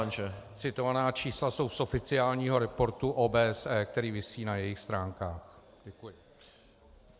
Ona citovaná čísla jsou z oficiálního reportu OBSE, který visí na jejich stránkách.